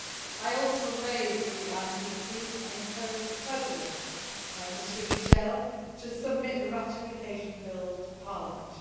I also raised the ICC and encouraged the President, Mr Michel, to submit the ratification bill to Parliament.